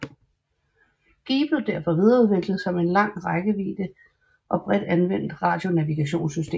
Gee blev derfor videreudviklet som et lang rækkevidde og bredt anvendeligt radionavigationssystem